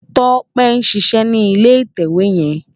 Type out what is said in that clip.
Tope n ṣiṣè ni ilé itèwé yèn